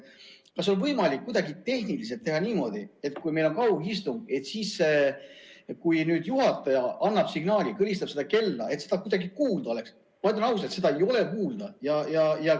Kas on kuidagi tehniliselt võimalik teha niimoodi, et kui meil on kaugistung ja juhataja annab signaali või kõlistab kella, siis seda kuidagi kuulda oleks?